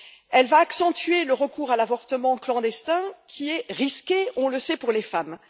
Elle va accentuer le recours à l'avortement clandestin, qui est risqué on le sait pour les femmes.